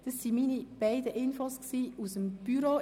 Das waren meine beiden Infos aus dem Büro.